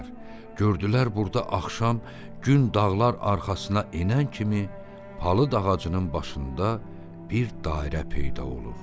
Gördülər burda axşam gün dağlar arxasına enən kimi palıd ağacının başında bir dairə peyda olur.